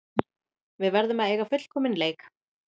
Við verðum að eiga fullkominn leik